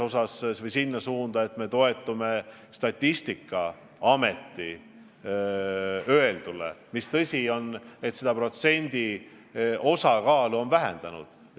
Tegelikult on see näitaja 0,72%, sest Statistikaamet on seda protsenti vähendanud.